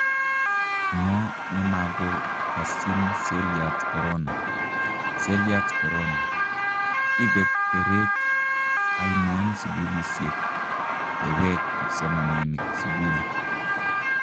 ngo nemago kasyin selyat korona : selyat Korona: ipe teret ainon sugulisiek yeweek kipsomaninik sugul?